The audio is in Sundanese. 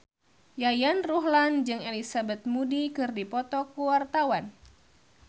Yayan Ruhlan jeung Elizabeth Moody keur dipoto ku wartawan